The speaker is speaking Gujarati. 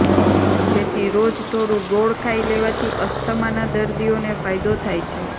જેથી રોજ થોડું ગોળ ખાઈ લેવાથી અસ્થમાના દર્દીઓને ફાયદો થાય છે